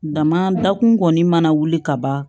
Dama dakun kɔni mana wuli ka ban